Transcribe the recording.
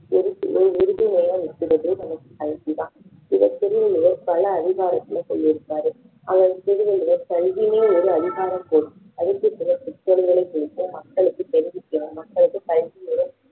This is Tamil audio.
எதுக்குமே உறுதுணையா இருக்கிறது நமக்கு கல்விதான் இதை திருவள்ளுவர் பல அதிகாரத்தில சொல்லிருக்கிறாரு அதை திருவள்ளுவர் கல்வியே ஒரு அதிகாரம் குறித்து மக்களுக்கு தெரிவிக்க